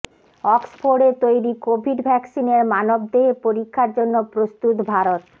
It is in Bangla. অক্সফোর্ডে তৈরি কোভিড ভ্যাকসিনের মানবদেহে পরীক্ষার জন্য প্রস্তুত ভারত